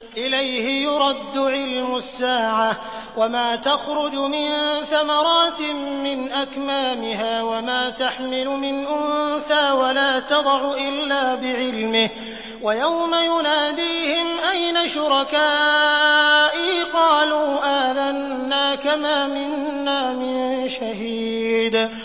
۞ إِلَيْهِ يُرَدُّ عِلْمُ السَّاعَةِ ۚ وَمَا تَخْرُجُ مِن ثَمَرَاتٍ مِّنْ أَكْمَامِهَا وَمَا تَحْمِلُ مِنْ أُنثَىٰ وَلَا تَضَعُ إِلَّا بِعِلْمِهِ ۚ وَيَوْمَ يُنَادِيهِمْ أَيْنَ شُرَكَائِي قَالُوا آذَنَّاكَ مَا مِنَّا مِن شَهِيدٍ